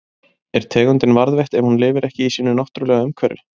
Er tegundin varðveitt ef hún lifir ekki í sínu náttúrulega umhverfi?